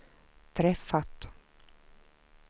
träffat